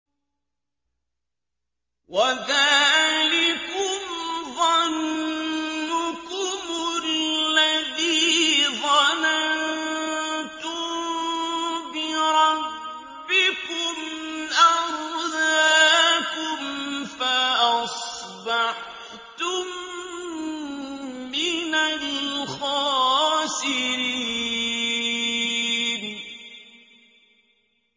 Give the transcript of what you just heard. وَذَٰلِكُمْ ظَنُّكُمُ الَّذِي ظَنَنتُم بِرَبِّكُمْ أَرْدَاكُمْ فَأَصْبَحْتُم مِّنَ الْخَاسِرِينَ